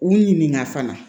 U ɲininka fana